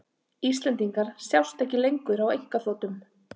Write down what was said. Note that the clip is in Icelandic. Íslendingar sjást ekki lengur á einkaþotum